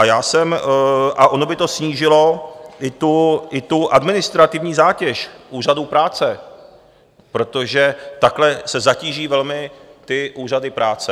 A já jsem - a ono by to snížilo i tu administrativní zátěž úřadům práce, protože takhle se zatíží velmi ty úřady práce.